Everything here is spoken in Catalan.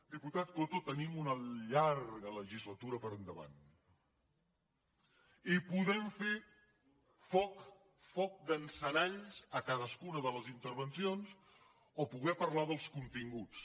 diputat coto tenim una llarga legislatura per endavant i podem fer foc d’encenalls a cadascuna de les intervencions o podem parlar dels continguts